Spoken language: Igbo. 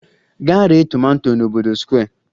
Gaa ree tomato n'obodo Square!